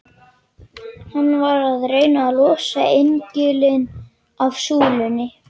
Hann var að reyna að losa engilinn af súlunni!